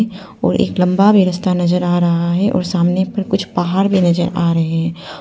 और एक लंबा में रस्ता नजर आ रहा है और सामने पर कुछ पहाड़ भी नजर आ रहे हैं।